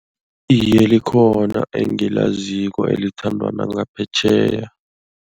Iye, likhona engilaziko elithandwa nangaphetjheya.